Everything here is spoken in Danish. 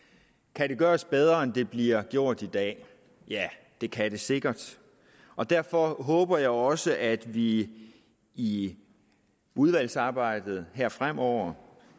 kan det gøres bedre end det bliver gjort i dag ja det kan det sikkert og derfor håber jeg også at vi i udvalgsarbejdet her fremover